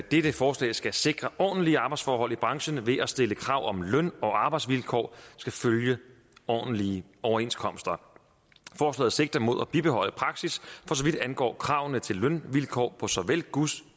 dette forslag skal sikre ordentlige arbejdsforhold i branchen ved at stille krav om at løn og arbejdsvilkår skal følge ordentlige overenskomster forslaget sigter mod at bibeholde praksis for så vidt angår kravene til lønvilkår på såvel gods